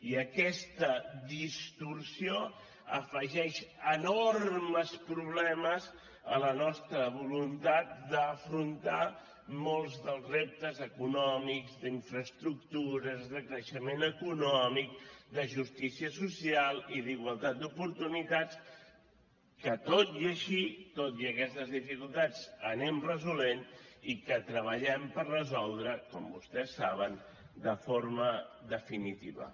i aquesta distorsió afegeix enormes problemes a la nostra voluntat d’afrontar molts dels reptes econòmics d’infraestructures de creixement econòmic de justícia social i d’igualtat d’oportunitats que tot i així tot i aquestes dificultats anem resolent i que treballem per resoldre com vostès saben de forma definitiva